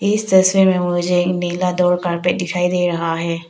इस तस्वीर में मुझे नीला दो कॉरपेट दिखाई दे रहा है।